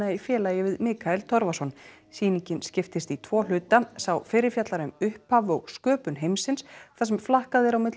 í félagi við Mikael Torfason sýningin skiptist í tvo hluta sá fyrri fjallar um upphaf og sköpun heimsins þar sem flakkað er á milli